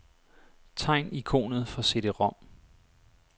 Tegn ikonet for cd-rom.